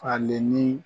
Falen ni